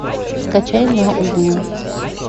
скачай на углу